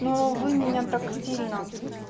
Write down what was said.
но вы меня так сильно